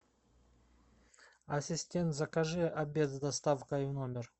ассистент закажи обед с доставкой в номер